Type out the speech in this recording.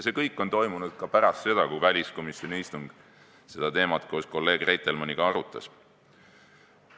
See kõik on toimunud ka pärast seda, kui väliskomisjoni istungil seda teemat koos kolleeg Reitelmanniga arutati.